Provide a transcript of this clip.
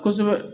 Kosɛbɛ